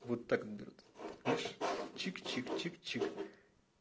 вот так берут видишь чик чик чик чик